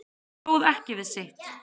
Stóð ekki við sitt